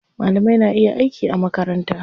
Malamai na iya aiki a makaranta.